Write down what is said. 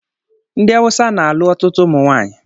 Ndị awụsa na-alụ ọtụtụ ụmụnwaanyị